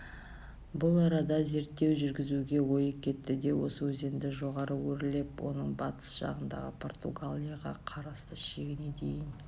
бұл арада зерттеу жүргізуге ойы кетті де осы өзенді жоғары өрлеп оның батыс жағындағы португалияға қарасты шегіне дейін